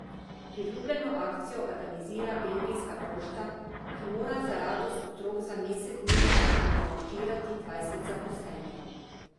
Priljubljeno akcijo organizira belgijska pošta, ki mora za radost otrok za mesec dni angažirati dvajset zaposlenih.